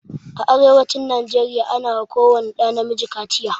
A arewacin nigeria ana wa ko wani ɗa na miji kaciya